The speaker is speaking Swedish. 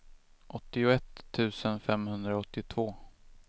åttioett tusen femhundraåttiotvå